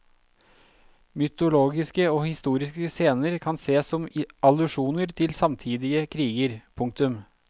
Mytologiske og historiske scener kan sees som allusjoner til samtidige kriger. punktum